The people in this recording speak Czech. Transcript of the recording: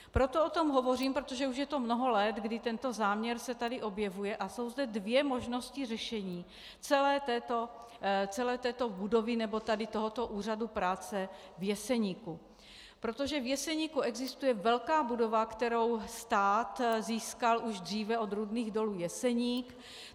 Proto o tom hovořím, protože už je to mnoho let, kdy tento záměr se tady objevil, a jsou zde dvě možnosti řešení celé této budovy nebo tady toho úřadu práce v Jeseníku, protože v Jeseníku existuje velká budova, kterou stát získal už dříve od Rudných dolů Jeseník.